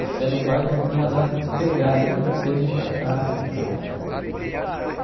Você não vai eu vou mandar te pegar aí para você vir para cá e tal.